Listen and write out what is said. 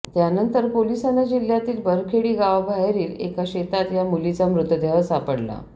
त्यानंतर पोलिसांना जिल्ह्यातील बरखेडी गावाबाहेरील एका शेतात या मुलीचा मृतदेह सापडला